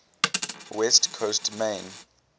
west coast main